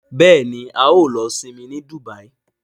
Béèni ào ló Isinmi ní Dubai.